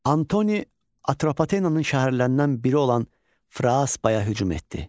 Antoni Atropatenanın şəhərlərindən biri olan Fraspaya hücum etdi.